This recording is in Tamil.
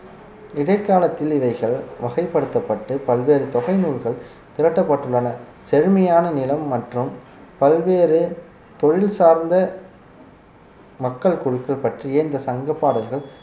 இடைக்காலத்தில் இவைகள் வகைப்படுத்தப்பட்டு பல்வேறு தொகை நூல்கள் திரட்டப்பட்டுள்ளன செழுமையான நிலம் மற்றும் பல்வேறு தொழில் சார்ந்த மக்கள் குழுக்கள் பற்றிய இந்த சங்க பாடல்கள்